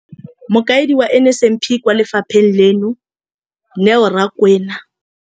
Mokaedi wa NSNP kwa lefapheng leno, Neo Rakwena.